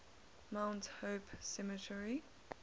mount hope cemetery